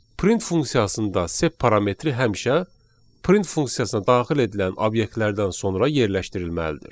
Print funksiyasında da sep parametri həmişə print funksiyasına daxil edilən obyektlərdən sonra yerləşdirilməlidir.